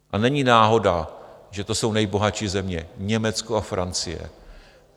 A není náhoda, že to jsou nejbohatší země - Německo a Francie.